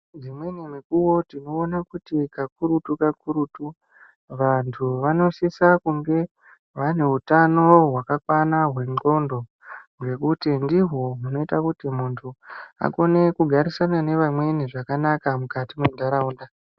Dzimweni mukuo tinoona kuti kakurutu kakurutu vanthu vanosise kunge vane utano hwakakwana hwendxondo nekuti ndihwo hunoite kuti munthu akone kugarisana nevamweni zvakanaka mukati mentharaunda .